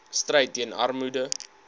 stryd teen armoede